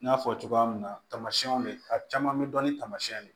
N y'a fɔ cogoya min na tamasiɛnw bɛ a caman bɛ dɔn ni tamasiyɛnw ye